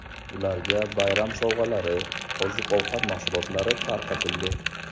Ularga bayram sovg‘alari, oziq-ovqat mahsulotlari tarqatildi.